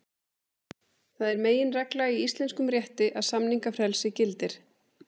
Það er meginregla í íslenskum rétti að samningafrelsi gildir.